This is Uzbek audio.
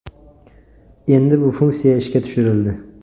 Endi bu funksiya ishga tushirildi.